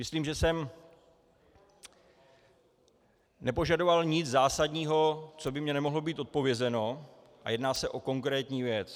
Myslím, že jsem nepožadoval nic zásadního, co by mně nemohlo být odpovězeno, a jedná se o konkrétní věc.